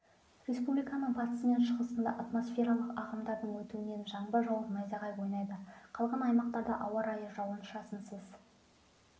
республиканың батысы мен шығысында атмосфералық ағымдардың өтуінен жаңбыр жауып найзағай ойнайды қалған аймақтарда ауа райы жауын-шашынсыз